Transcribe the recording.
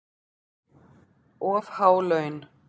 Of há laun